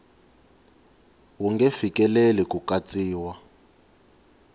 wu nge fikeleli ku katsiwa